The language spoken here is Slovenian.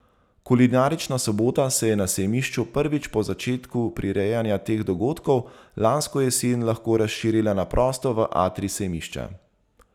Kulinarična sobota se je na sejmišču prvič po začetku prirejanja teh dogodkov lansko jesen lahko razširila na prosto v atrij sejmišča.